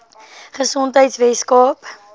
gesondheidweskaap